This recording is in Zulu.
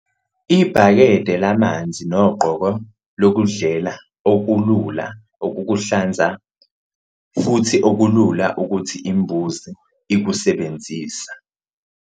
Ibhakede lamanzi nogqoko lokudlela okulula ukukuhlanza futhi okulula ukuthi imbuzi ikusebenzise.